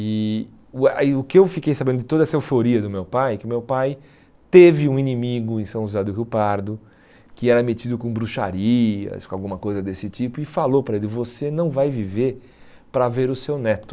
E o que eu fiquei sabendo de toda essa euforia do meu pai, que o meu pai teve um inimigo em São José do Rio Pardo, que era metido com bruxarias, com alguma coisa desse tipo, e falou para ele, você não vai viver para ver o seu neto.